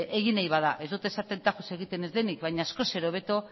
egiten bada ez dut esaten tajuz egiten ez denik baina askoz ere hobeto